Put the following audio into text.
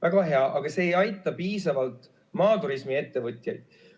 Väga hea, aga see ei aita piisavalt maaturismiettevõtjaid.